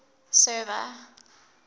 server